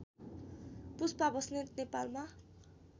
पुष्पा बस्नेत नेपालमा